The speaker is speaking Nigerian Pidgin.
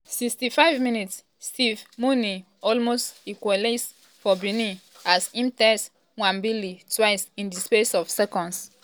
65 mins - steve mounie almost equalise for benin as im test nwabali twice in di space of seconds.